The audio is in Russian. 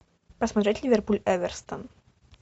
посмотреть ливерпуль эвертон